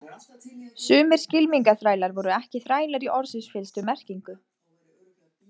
Sumir skylmingaþrælar voru ekki þrælar í orðsins fyllstu merkingu.